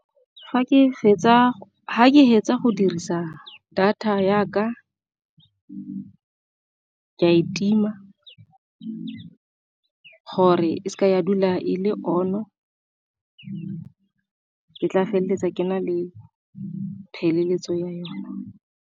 Fa ke fetsa go dirisa data ya ka ke a e tima gore e seke ya dula e le on-o, ke tla feleletsa ke na le pheleletso ya yone.